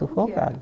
sufocado